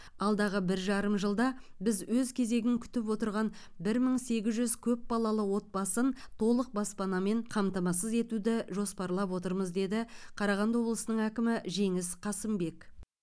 алдағы бір жарым жылда біз өз кезегін күтіп отырған бір мың сегіз жүз көп балалы отбасын толық баспанамен қамтамасыз етуді жоспарлап отырмыз деді қарағанды облысының әкімі жеңіс қасымбек